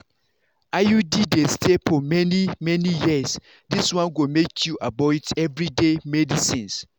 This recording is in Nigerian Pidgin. iud dey stay for many-many years this one go make you avoid everyday medicines.